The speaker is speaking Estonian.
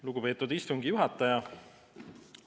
Lugupeetud istungi juhataja!